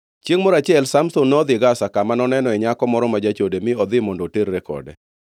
Chiengʼ moro achiel Samson nodhi Gaza, kama nonenoe nyako moro ma jachode mi odhi mondo oterre kode.